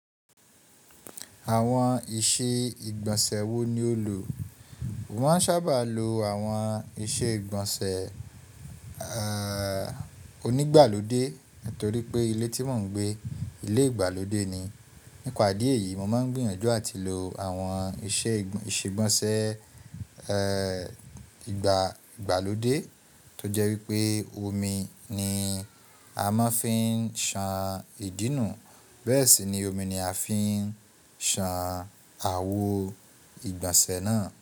Àwọn ìse ìgbọ̀nsẹ̀ wo ni o lò? Mo máa ń sábà lo àwọn ìse ìgbọ̀nsẹ̀, ẹ́, onígbàlódé nítorí pé ilé tí mò ń gbé, ilé ìgbàlódé ni. Nípa ìdí èyí mo máa ń gbìyànjú àti lo àwọn ìse ìgbọ̀nsẹ̀, ẹ́, ìgbàlódé tó jẹ́ wípé omi ni a máa ń fi ń ṣan ìdí nù, bẹ́ẹ̀ sì ni omi ni a fi ń ṣan àwo ìgbọ̀nsẹ̀ náà.